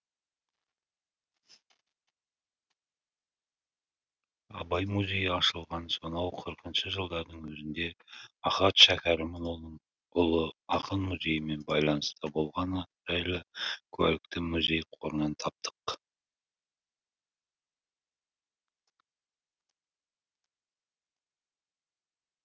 абай музейі ашылған сонау қырқыншы жылдардың өзінде ахат шәкәрімұлының ұлы ақын музейімен байланыста болғаны жайлы куәлікті музей қорынан таптық